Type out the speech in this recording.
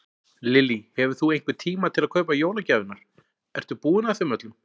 Lillý: Hefur þú einhvern tíma til að kaupa jólagjafirnar, ertu búinn að þeim öllum?